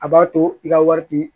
A b'a to i ka wari ti